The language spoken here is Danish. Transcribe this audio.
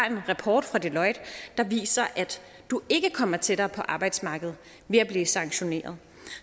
en rapport fra deloitte der viser at du ikke kommer tættere på arbejdsmarkedet ved at blive sanktioneret